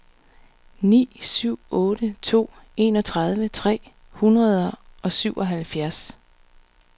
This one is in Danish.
ni syv otte to enogtredive tre hundrede og syvoghalvfjerds